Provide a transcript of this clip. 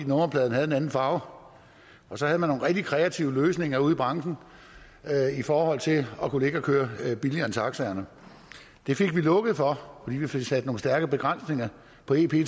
nummerpladen havde en anden farve og så havde man nogle rigtig kreative løsninger ude i branchen i forhold til at kunne ligge og køre billigere end taxaerne det fik vi lukket for fordi vi fik sat nogle stærke begrænsninger på ep